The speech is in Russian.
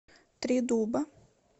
три дуба